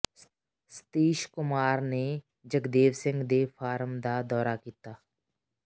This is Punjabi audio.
ਸਤੀਸ਼ ਕੁਮਾਰ ਨੇ ਜਗਦੇਵ ਸਿੰਘ ਦੇ ਫਾਰਮ ਦਾ ਦੌਰਾ ਕੀਤਾ